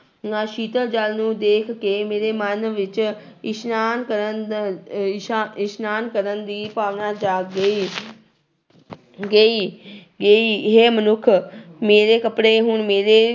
ਨਾ ਸੀਤਲ ਜਲ ਨੂੰ ਦੇਖ ਕੇ ਮੇਰੇ ਮਨ ਵਿੱਚ ਇਸਨਾਨ ਕਰਨ ਦਾ ਇਸਾ ਇਸਨਾਨ ਕਰਨ ਦੀ ਭਾਵਨਾ ਜਾਗ ਗਈ ਗਈ ਗਈ ਹੇ ਮਨੁੱਖ ਮੇਰੇ ਕੱਪੜੇ ਹੁਣ ਮੇਰੇ